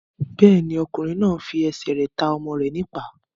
Bẹ́ẹ̀ni, ọkùnrin náà n fi ẹsẹ̀ rẹ̀ ta ọmọ rẹ̀ ní ìpá